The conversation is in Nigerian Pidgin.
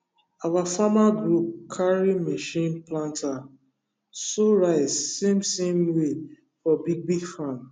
our farmer group carry machine planter sow rice same same way for big big farm